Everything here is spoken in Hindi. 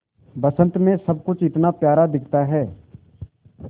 बसंत मे सब कुछ इतना प्यारा दिखता है